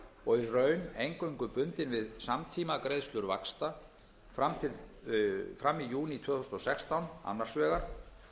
og í raun eingöngu bundin við samtímagreiðslur vaxta fram í júní tvö þúsund og sextán annars vegar